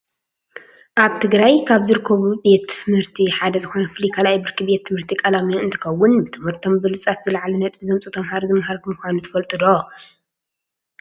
ኣብ ትግራይ ካብ ዝርከቡ ቤት ትምህርቲ ሓደ ዝኮነ ፍሉይ ካልኣይ ብርኪ ቤት ትምህርቲ ቓላሚኖ እንትከውን፤ ብትምህርቶም ብሉፃት ዝላዕለ ነጥቢ ዘምፅኡ ተማሃሮ ዝማሃሩሉ ምኳኑ ትፈልጡ ዶ?